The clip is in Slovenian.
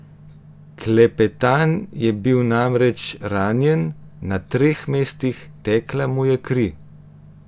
Klepetan je bil namreč ranjen na treh mestih, tekla mu je kri.